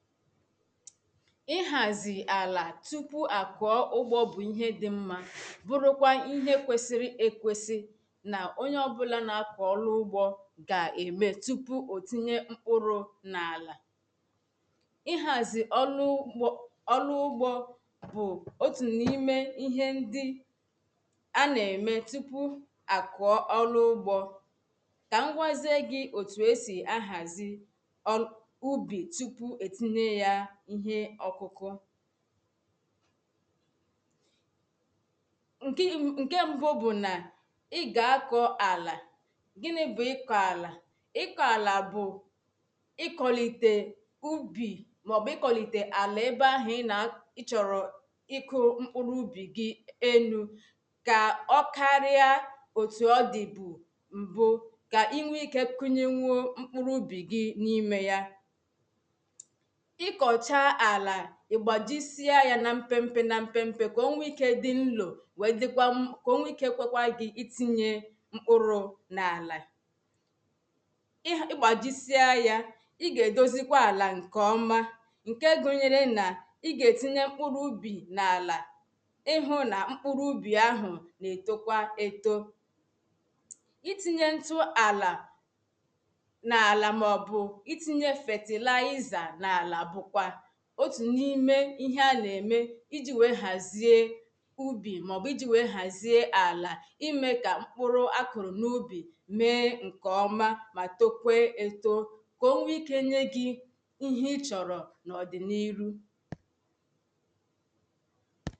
ị̀hàzì àlà tupu à kụ̀ọ̀ ụ̀gbọ̇ bụ̀ ihe dị̀ m̀ma. bụrụ kwa ihe kwesiri èkwesi na onye ọ̀bụ̇là na-apụ ọrụ ụgbọ̇ ga-eme tupu otinyė mkpụrụ n’àlà ị̀hàzì ọlụ ugbȯ bụ̀ otu n’ime ihe ndi a na-eme tupu à kụ̀ọ̀ ọlụ ụ̀gbọ̇ ka m gwazė gị otu e si ahazì ihe ọ̀kụ̀kụ̀ ṅ̀kė ṅ̀ke mbu bụ̀ na ị gà-àkọ̀ àlà gịnị bụ̀ ị̀kọ̀ àlà ị̀kọ̀ àlà bụ̀ ị̀kọ̀lite ubì maọ̀bụ̀ ị̀kọ̀lite àlà ebe ahụ̀ ị na ị chọ̀rọ̀ ị̀kụ̀ mkpụrụ ụbì gị enu̇ kà ọ̀ karịà otù ọ dị̀ bụ̀ m̀bụ kà inwe ike kunye nwe o mkpụrụ ụbì gị̇ n’imė ya ị kọchaa ala ị gbajisịa ya na mpepempe na mpepempe ka o nwee ike dị nlo wee dịkwa m ka o nwee ike ekwekwa gị itinye mkpụrụ n’ala ị gbajisịa ya ị ga edozikwa ala nke ọma nke gụnyere na ị ga-etinye mkpụrụ ubi n’ala ị hụ na mkpụrụ ubi ahụ na-etokwa eto ị tinye ntụ ala n’ala maọbụ itinye fatịlaịza n’ala ihe a na-eme iji wee hazie ubì maọ̀bụ̀ iji wee hazie alà ime ka mkpụrụ̀ akụrụ̀ n’ubì mee nke ọmà ma tokwe etò ka o nwee ike nye gị ihe ị chọrọ̀ n’ọdịnihu